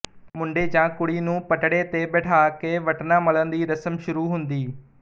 ਮੁੰਡੇ ਜਾਂ ਕੁੜੀ ਨੂੰ ਪਟੜੇ ਤੇ ਬੈਠਾ ਕੇ ਵਟਣਾ ਮਲਣ ਦੀ ਰਸਮ ਸ਼ੁਰੂ ਹੁੰਦੀ